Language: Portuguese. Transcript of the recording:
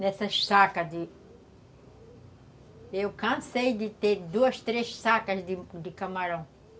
Nessas sacas de... Eu cansei de ter duas, três sacas de camarão.